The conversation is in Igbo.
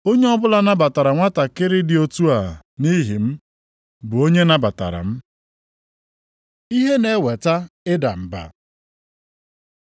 Onye ọbụla nabatara nwantakịrị dị otu a nʼihi m, bụ onye nabatara m. Ihe na-eweta ịda mba